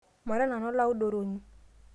mara nanu olaudoroni